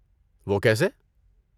وہ کیسے؟